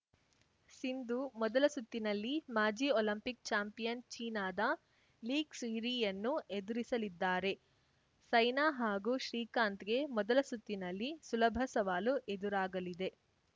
ಸಿಂಧು ಮೊದಲ ಸುತ್ತಿನಲ್ಲಿ ಮಾಜಿ ಒಲಿಂಪಿಕ್‌ ಚಾಂಪಿಯನ್‌ ಚೀನಾದ ಲೀ ಕ್ಸುಯಿರಿಯನ್ನು ಎದುರಿಸಲಿದ್ದಾರೆ ಸೈನಾ ಹಾಗೂ ಶ್ರೀಕಾಂತ್‌ಗೆ ಮೊದಲ ಸುತ್ತಿನಲ್ಲಿ ಸುಲಭ ಸವಾಲು ಎದುರಾಗಲಿದೆ